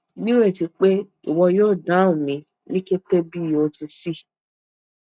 nireti pe iwọ yoo dahun mi ni kete bi o ti ṣee